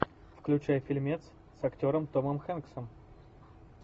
включай фильмец с актером томом хэнксом